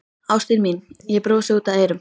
Ástin mín, ég brosi út að eyrum.